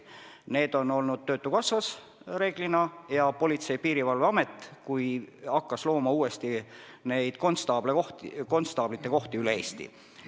Need on reeglina olnud töötukassas ning Politsei- ja Piirivalveamet hakkas uuesti looma konstaablite kohti üle Eesti.